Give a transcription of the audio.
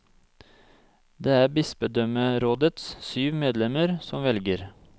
Det er bispedømmerådets syv medlemmer som velger.